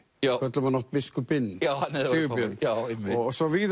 við köllum hann oft biskupinn Sigurbjörn svo vígði